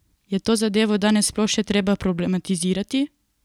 Je to zadevo danes sploh še treba problematizirati?